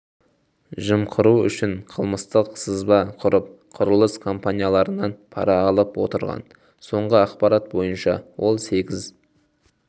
жымқыру үшін қылмыстық сызба құрып құрылыс компанияларынан пара алып отырған соңғы ақпарат бойынша ол сегіз